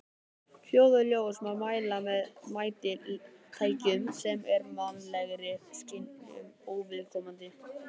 Hljóð og ljós má mæla með mælitækjum sem eru mannlegri skynjun óviðkomandi.